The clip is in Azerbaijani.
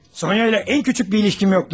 Sonya ilə ən küçük bir ilişkim yoxdur.